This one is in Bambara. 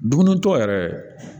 Dumunitɔ yɛrɛ